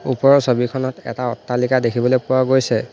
ওপৰৰ ছবিখনত এটা অট্টালিকা দেখিবলে পোৱা গৈছে।